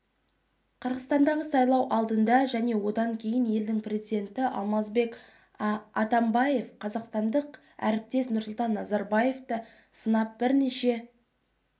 қырғызстандағы сайлау алдында және одан кейін елдің президенті алмазбек атамбаев қазақстандық әріптесі нұрсұлтан назарбаевты сынап бірнеше